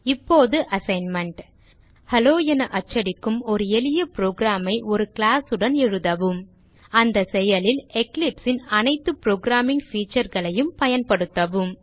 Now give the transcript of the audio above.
இப்போது assignment hello என அச்சடிக்கும் ஒரு எளிய program ஐ ஒரு கிளாஸ் உடன் எழுதவும் இந்த செயலில் Eclipse ன் அனைத்து புரோகிராமிங் featureகளையும் பயன்படுத்தவும்